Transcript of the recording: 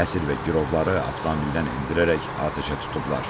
Əsir və girovları avtomobildən endirərək atəşə tutublar.